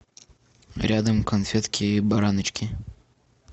рядом конфетки бараночки